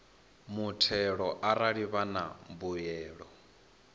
muthelo arali vha na mbuyelo